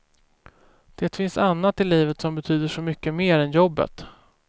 Det finns annat i livet som betyder så mycket mer än jobbet.